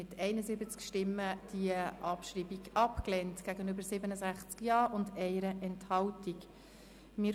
Sie haben die Abschreibung der Ziffer 4 mit 67 Ja- gegen 71 Nein-Stimmen bei 1 Enthaltung abgelehnt.